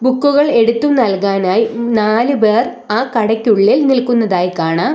Book കൾ എടുത്തു നൽകാനായി നാലുപേർ ആ കടയ്ക്കുള്ളിൽ നിൽക്കുന്നതായി കാണാം.